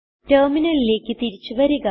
ടെർമിനലിലേക്ക് തിരിച്ചു വരിക